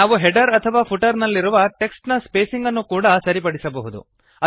ನಾವು ಹೆಡರ್ ಅಥವಾ ಫುಟರ್ ನಲ್ಲಿರುವ ಟೆಕ್ಸ್ಟ್ ನ ಸ್ಪೇಸಿಂಗ್ ಅನ್ನು ಕೂಡಾ ಸರಿಪಡಿಸಬಹುದು